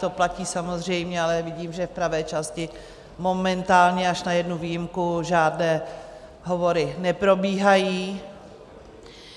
To platí samozřejmě... ale vidím, že v pravé části, momentálně až na jednu výjimku, žádné hovory neprobíhají.